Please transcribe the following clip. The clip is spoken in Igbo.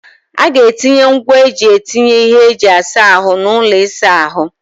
Ọ ga-etinye ngwaa eji etinye ihe eji asa ahụ n'ụlọ ịsa ahụ?